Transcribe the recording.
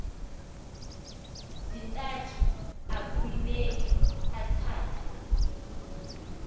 zintathu akueuneki athethe